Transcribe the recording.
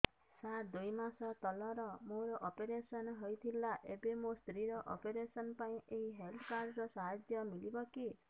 ସାର ଦୁଇ ମାସ ତଳରେ ମୋର ଅପେରସନ ହୈ ଥିଲା ଏବେ ମୋ ସ୍ତ୍ରୀ ର ଅପେରସନ ପାଇଁ ଏହି ହେଲ୍ଥ କାର୍ଡ ର ସାହାଯ୍ୟ ମିଳିବ କି